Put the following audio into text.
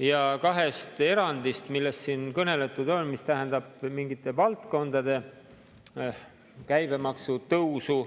Ja kaks erandit, millest siin kõneldud on, tähendavad mingite valdkondade käibemaksu tõusu,